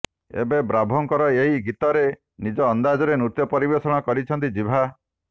ଏବେ ବ୍ରାଭୋଙ୍କର ଏହି ଗୀତରେ ନିଜ ଅନ୍ଦାଜରେ ନୃତ୍ୟ ପରିବେଷଣ କରିଛନ୍ତି ଜିଭା